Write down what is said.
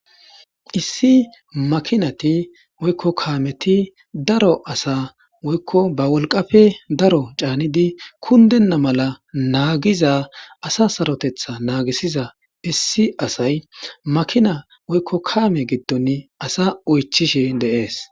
Issi makinati woyko Kameti daro asa woyko ba wolqappe daro canidi kundena mala nagiza asa sarotetha nagisiza issi asay makina woyko kame gidon asa oychishe de'ese